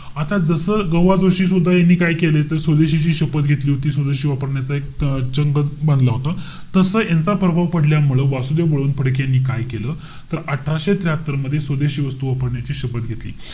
आता जस ग बा जोशी यांनीसुद्धा काय केलं? त स्वदेशीची शपथ घेतली होती. स्वदेशी वापरण्याचा एक अं चंगच बांधला होता. तस यांचा प्रभाव पडल्यामुळे वासुदेव बळवंत फडके यांनी काय केलं? तर अठराशे त्र्याहात्तर मध्ये स्वदेशी वस्तू वापरण्याची शपथ घेतली.